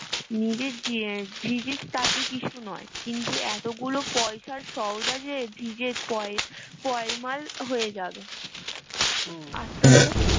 নিজে ভি ভিজিস তাতে কিছু নয় কিন্তু এতগুলো পয়সার সউদা যে ভিজে পয় পয়মাল হয়ে যাবে আস্তে পড়